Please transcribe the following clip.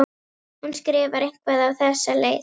Hún skrifar eitthvað á þessa leið: